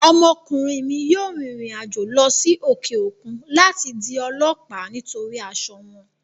Ọmọkùnrin mi yóò rìnrìn àjò lọ sí òkè òkun láti di ọlọ́ọ̀lá nítorí asọ wọn